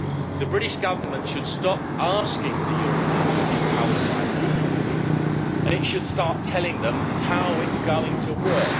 The British Government should stop asking the European Union how it might leave please, and it should start telling them how it's going to work.